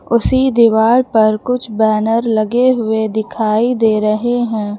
उसी दीवार पर कुछ बैनर लगे हुए दिखाई दे रहे हैं।